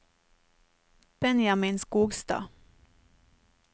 Benjamin Skogstad